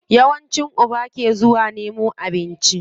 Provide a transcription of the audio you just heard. Yawanci uba ke zuwa nemo abinci.